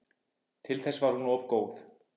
Til þess var hún of góð.